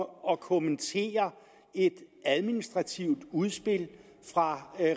og kommentere et administrativt udspil fra